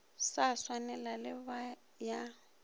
sa swanego le ya ba